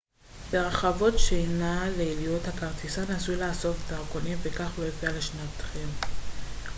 ברכבות שינה ליליות הכרטיסן עשוי לאסוף דרכונים וכך לא להפריע לשנתכם